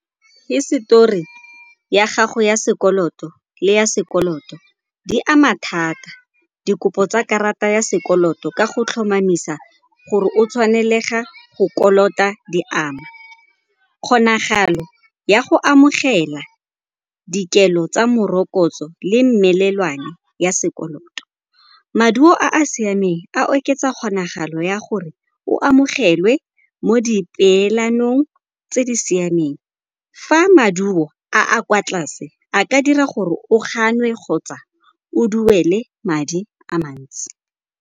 Hisetori ya gago ya sekoloto le ya sekoloto, di ama thata dikopo tsa karata ya sekoloto ka go tlhomamisa gore o tshwanelega go kolota diama. Kgonagalo ya go amogela dikelo tsa morokotso le melelwane ya sekoloto, maduo a a siameng a oketsa kgonagalo ya gore o amogelwe mo dipeelanong tse di siameng. Fa maduo a a kwa tlase a ka dira gore o ganwe kgotsa o duele madi a mantsi.